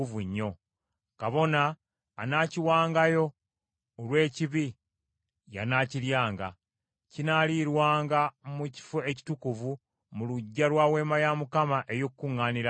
Kabona anaakiwangayo olw’ekibi y’anaakiryanga. Kinaalirwanga mu kifo ekitukuvu mu luggya lwa Weema ey’Okukuŋŋaanirangamu.